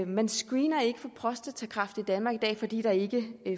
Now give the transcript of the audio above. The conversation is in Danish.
man screener ikke for prostatakræft i danmark i dag fordi der ikke